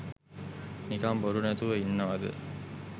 නිකං බොරු නැතුව ඉන්නවද.